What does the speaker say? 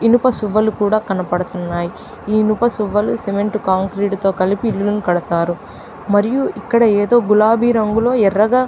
ఇనుప సువ్వలు కూడా కనబడుతున్నాయి. ఈ ఇనుప సువ్వళ్ళు సిమెంట్ కాంక్రీట్ తో కలిపి ఇల్లును కడతారు. మరియు గులాబీ రంగులోఎర్రగా--